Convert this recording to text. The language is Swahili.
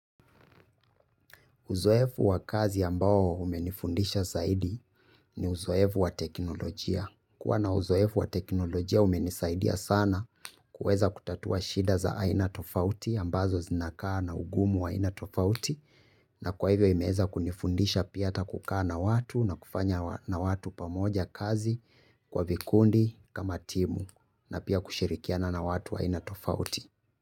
Uzoefu wa kazi ambao umenifundisha zaidi ni uzoefu wa teknolojia. Kuwa na uzoefu wa teknolojia umenisaidia sana. Kuweza kutatua shida za aina tofauti ambazo zinakaa na ugumu wa aina tofauti. Na kwa hivyo imeweza kunifundisha pia ata kukaa na watu na kufanya na watu pamoja kazi kwa vikundi kama timu. Na pia kushirikiana na watu wa aina tofauti.